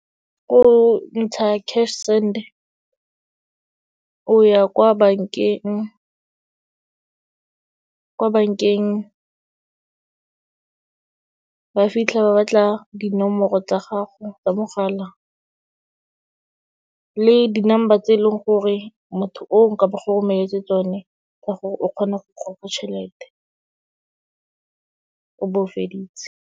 Ko ntsha cash send, o ya kwa bankeng. Kwa bank-eng, ba fitlha ba batla dinomoro tsa gago tsa mogala le di-number tse e leng gore motho o, ka ba go romeletse tsone, tsa gore o kgone go goga tšhelete, o bo o feditse.